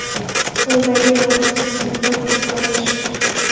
Qo‘ldagi yoqimsiz hidlarni ketkazish .